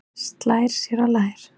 Slær sér á lær.